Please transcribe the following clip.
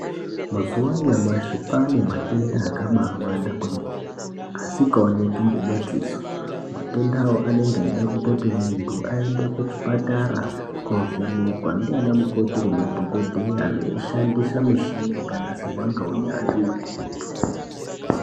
Mazuwa anyamashi kwaane matenda akabawanda kwemene asikaoneki ngemadziso. Matenda awa anenge eida kutoti munthu aende kuchipatara koovhenekwa ndiana mukoti nemadhokodheya veishandisa mishini yakagadzirwa ngeunyanzvi ukurutu.